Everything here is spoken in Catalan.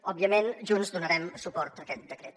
òbviament junts donarem suport a aquest decret